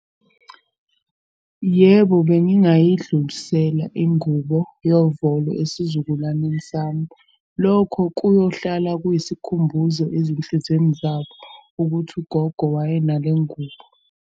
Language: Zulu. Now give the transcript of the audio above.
Yebo, bengingayidlulisela ingubo yovolo esizukulwaneni sami. Lokho kuyohlala kuyisikhumbuzo ezinhlizweni zabo ukuthi ugogo wayenale ngubo.